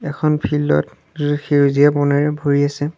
এখন ফিল্ড ত সেউজীয়া বনেৰে ভৰি আছে।